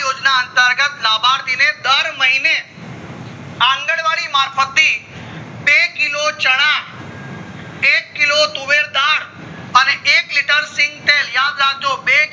આ યોજના અંતર્ગ્રત લાભાર્થીને દર મહીને અન્ગન્વાડી મારફત થી બે kilo ચણા એક kilo તુવેરદાળ અને એક liter સિંગ તેલ યાદ રાખજો